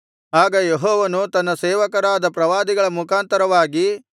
ಆಗ ಯೆಹೋವನು ತನ್ನ ಸೇವಕರಾದ ಪ್ರವಾದಿಗಳ ಮುಖಾಂತರವಾಗಿ